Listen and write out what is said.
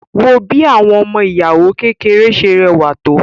Wo bí àwọn ọmọ ìyàwó kékèké ṣe rẹwà tó